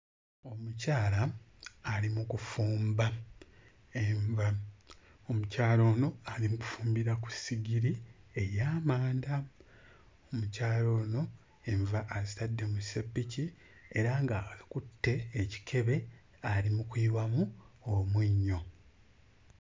Omukyala ali mu kufumba enva omukyala ono ali mu kufumbira ku ssigiri ey'amanda omukyala ono enva azitadde mu sseppiki era nga akutte ekikebe ali mu kuyiwamu omunnyo.